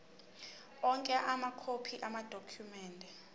onke amakhophi amadokhumende